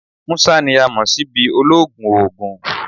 Musa ni a mọ si bi ologun oogun